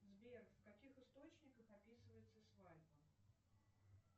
сбер в каких источниках описывается свадьба